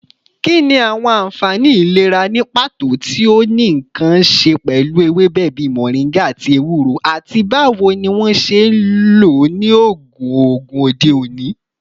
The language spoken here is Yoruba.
Kini awọn anfani ilera ni pato ti o ni nkan ṣe pẹlu ewebe bii moringa ati ewuro, ati bawo ni wọn ṣe nlo ni oogun oogun ode oni?